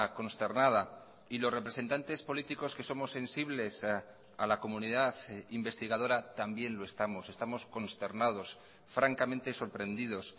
consternada y los representantes políticos que somos sensibles a la comunidad investigadora también lo estamos estamos consternados francamente sorprendidos